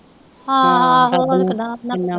ਹਾਂ ਹਾਂ ਹਾਂ ਹੋਰ ਕਿਦਾਂ